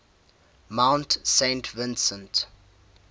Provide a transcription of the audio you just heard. mount saint vincent